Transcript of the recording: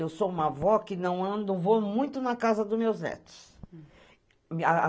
Eu sou uma vó que não ando, vou muito na casa dos meus netos.